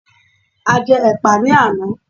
A jẹ́ ẹ̀pà ní àná